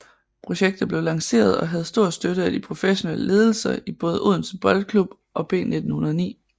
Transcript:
Projektet blev lanceret og havde stor støtte af de professionelle ledelser i både Odense Boldklub og B1909